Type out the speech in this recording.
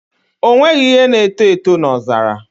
O nweghị ihe na-eto eto n'ọzara